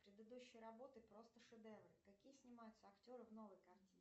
предыдущие работы просто шедевр какие снимаются актеры в новой картине